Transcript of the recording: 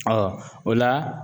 o la.